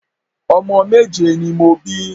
Omo méje ni mo bi